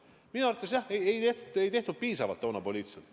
Minu arvates ei tehtud seda toona piisavalt poliitiliselt.